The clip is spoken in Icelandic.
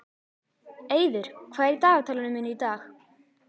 Eiður, hvað er í dagatalinu mínu í dag?